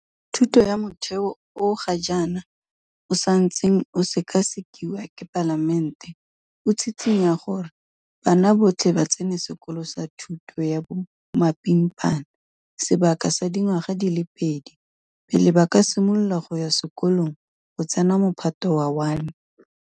Thuto ya Motheo o ga jaana o santseng o sekasekiwa ke Palamente o tshitshinya gore bana botlhe ba tsene sekolo sa thuto ya bomapimpana sebaka sa dingwaga di le pedi pele ba ka simolola go ya sekolong go tsena Mophato wa 1.